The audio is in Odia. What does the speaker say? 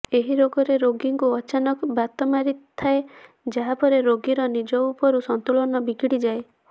ଏହି ରୋଗରେ ରୋଗୀକୁ ଅଚାନକ ବାତ ମାରିଥାଏ ଯାହାପରେ ରୋଗୀର ନିଜ ଉପରୁ ସନ୍ତୁଳନ ବିଗିଡିଯାଏ